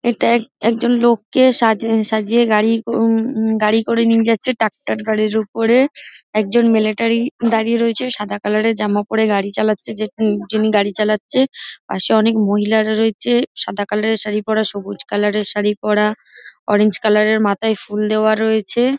এটা এক- একজন লোককে সা-সাজিয়ে গাড়ি উম- উম- গাড়ি করে নিয়ে যাচ্ছে ট্রাক্টর গাড়ির ওপরে একজন মিলিটারী দাঁড়িয়ে রয়েছে সাদা কালার -এর জামা পরে গাড়ি চালাচ্ছে যে যিনি গাড়ি চালাচ্ছে পাশে অনেক মহিলারা রয়েছে সাদা কালার এর শাড়ি পরা সবুজ কালার -এর শাড়ি পরা অরেঞ্জ কালার -এর মাথায় ফুল দেওয়া রয়েছে।